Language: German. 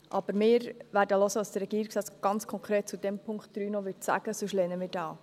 Aber wir werden zuhören, was der Regierungsrat ganz konkret zu diesem Punkt 3 noch sagen wird, sonst lehnen wir ihn ab.